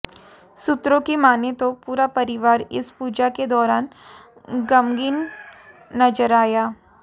सूत्रों की मानें तो पूरा परिवार इस पूजा के दौरान गमगीन नजर आया